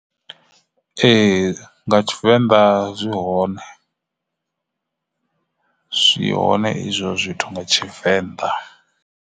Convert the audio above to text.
Ee, nga Tshivenḓa zwi hone zwi hone izwo zwithu nga Tshivenḓa.